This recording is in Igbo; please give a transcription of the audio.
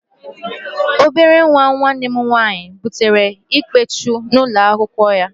Obere nwa nwanne m nwaanyị butere Ikpechu n'ụlọ akwụkwọ ya